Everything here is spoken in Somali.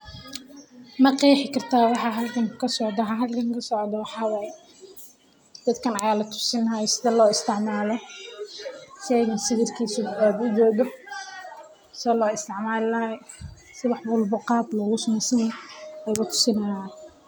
Ma qeexi kartaa waxa halkan kasocdo waxa halkan kasocdo waxa waye dadkan ayaa latusi haaya sida loo isticmaalo sida wax kasta loogu suubini lahaaya ayaa latusi haaya.